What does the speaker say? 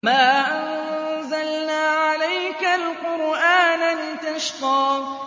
مَا أَنزَلْنَا عَلَيْكَ الْقُرْآنَ لِتَشْقَىٰ